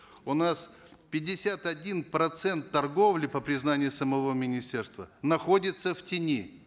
у нас пятьдесят один процент торговли по признанию самого министерства находится в тени